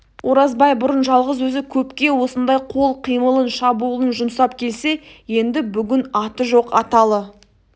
оразбай бұрын жалғыз өзі көпке осындай қол қимылын шабуылын жұмсап келсе енді бүгін аты жоқ аталы